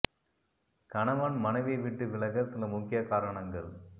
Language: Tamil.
கணவன் மனைவியை விட்டு விலக சில முக்கிய காரணங்கள்